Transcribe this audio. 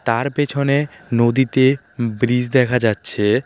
তার পেছনে নদীতে ব্রিজ দেখা যাচ্ছে।